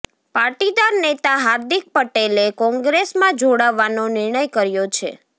પાટીદાર નેતા હાર્દિક પટેલે કોંગ્રેસમાં જોડાવાનો નિર્ણય કર્યો છે